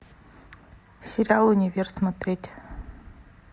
сериал универ смотреть